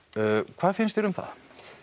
hvað finnst þér um það